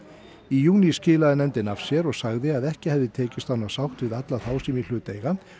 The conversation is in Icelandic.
í júní skilaði nefndin af sér og sagði að ekki hefði tekist að ná sátt við alla þá sem í hlut